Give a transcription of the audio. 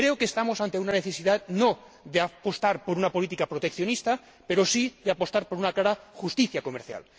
Creo que estamos ante una necesidad, no de apostar por una política proteccionista, pero sí de apostar por una clara justicia comercial.